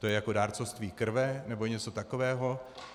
To je jako dárcovství krve nebo něco takového?